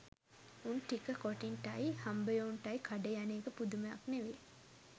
උන් ටික කොටින්ටයි හම්බයෝන්ටයි කඩේ යන එක පුදුමයක් නෙවේ